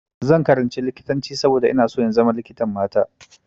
Zan karanci likitanci saboda ina so in zama likitan mata.